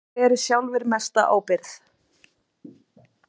Þeir beri sjálfir mesta ábyrgð.